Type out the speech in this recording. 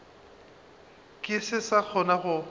ke se sa kgona go